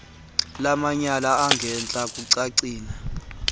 lwamatyala angentla kucacile